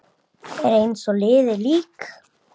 Er eins og liðið lík.